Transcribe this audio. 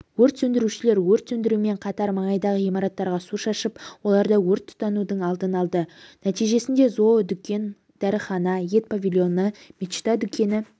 өрт сөндірушілер өрт сөндірумен қатар маңайдағы ғимараттарға су шашып оларда өрт тұтанудың алдын алды нәтижесінде зоодүкен дәріхана ет павильоны мечта дүкені